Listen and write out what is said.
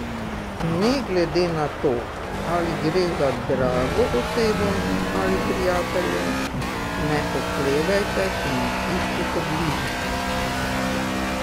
Ne glede na to, ali gre za drago osebo ali prijatelja, ne oklevajte in ne iščite bližnjic.